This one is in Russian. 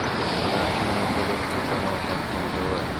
покажи мне на тв телеканал шансон тв